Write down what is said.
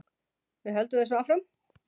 Við höldum þessu áfram